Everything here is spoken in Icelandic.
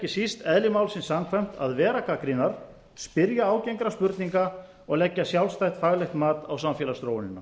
síst eðli málsins samkvæmt að vera gagnrýnar spyrja ágengra spurninga og leggja sjálfstætt faglegt mat á samfélagsþróunina